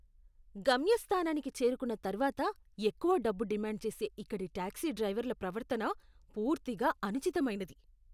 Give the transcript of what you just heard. గమ్యస్థానానికి చేరుకున్న తర్వాత ఎక్కువ డబ్బు డిమాండ్ చేసే ఇక్కడి టాక్సీ డ్రైవర్ల ప్రవర్తన పూర్తిగా అనుచితమైనది.